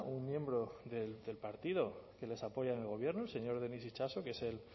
un miembro del partido que les apoyan en el gobierno el señor denis itxaso que es el